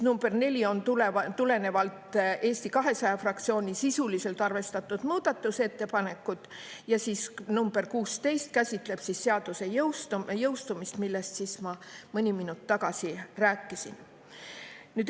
Number 4 on tulenevalt Eesti 200 fraktsiooni sisuliselt arvestatud muudatusettepanekust ja nr 16 käsitleb seaduse jõustumist, millest ma mõni minut tagasi rääkisin.